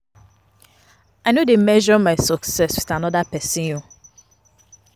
I no dey measure my success wit anoda pesin own.